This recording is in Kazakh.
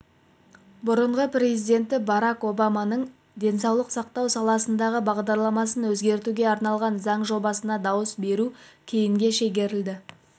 бұрынғы президенті барак обаманың денсаулық сақтау саласындағы бағдарламасын өзгертуге арналған заң жобасына дауыс беру кейінге шегерілді